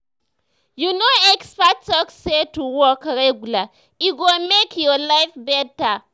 you know experts talk say to walk regular e go make your life better.